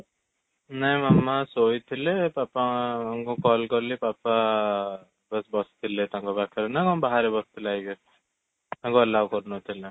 ନା ମାମା ଶୋଇଥିଲେ ପାପାଙ୍କୁ call କଲି ପାପା ବାସ ବସିଥିଲେ ତାଙ୍କ ପାଖରେ ନା ବାହାରେ ବସିଥିଲେ i guess ତାଙ୍କୁ allow କରୁ ନଥିଲେ